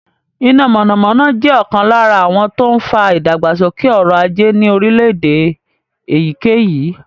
Iná mọ̀nàmọ́ná jẹ́ ọ̀kan lára àwọn tó ń fa ìdàgbàsókè ọrọ̀ ajé ní orílẹ̀-èdè èyíkéyìí.